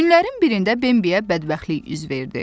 Günlərin birində Bembiyə bədbəxtlik üz verdi.